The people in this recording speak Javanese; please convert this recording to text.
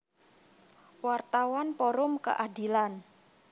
Wartawan Forum Keadilan